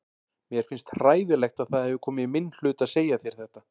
Mér finnst hræðilegt að það hefur komið í minn hlut að segja þér þetta.